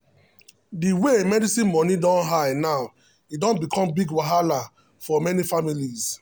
um the way medicine money don high now e don become big wahala for many families.